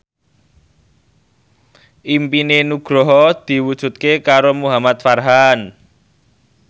impine Nugroho diwujudke karo Muhamad Farhan